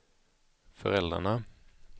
föräldrarna